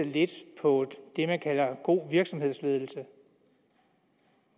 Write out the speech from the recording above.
lidt på det man kalder god virksomhedsledelse